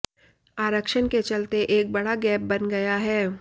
आरक्षण के चलते एक बड़ा गैप बन गया है